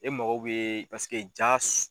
E mago bɛ paseke jaa